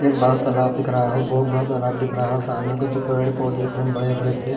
एक बड़ा सा तालाब दिख रहा है बहुत बड़ा तालाब दिख रहा है और सामने कुछ पेड़ पौधे दिख रहे हैं बड़े-बड़े से --